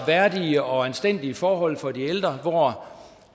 værdige og anstændige forhold for de ældre hvor